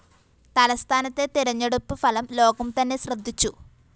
തലസ്ഥാനത്തെ തെരഞ്ഞെടുപ്പ് ഫലം ലോകം തന്നെ ശ്രദ്ധിച്ചു